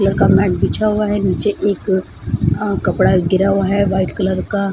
Colour का mat बिछा हुआ है नीचे एक अ कपड़ा गिरा हुआ है व्हाइट कलर का।